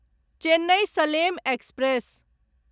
Chennai Salem express